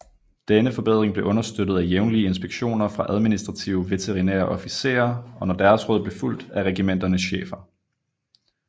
Denne forbedring blev understøttet af jævnlige inspektioner fra administrative veterinære officerer og når deres råd blev fulgt af regimenternes chefer